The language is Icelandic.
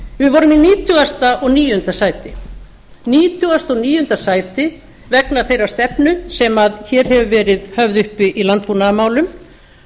við vorum í nítugasta og níunda sæti vegna þeirrar stefnu sem hér hefur verið höfð upp í landbúnaðarmálum